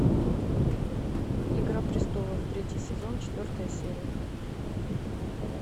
игра престолов третий сезон четвертая серия